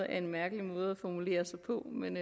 er en mærkelig måde at formulere sig på men